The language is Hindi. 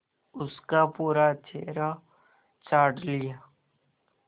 उसका पूरा चेहरा चाट लिया